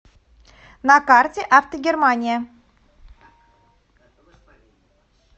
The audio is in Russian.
на карте автогермания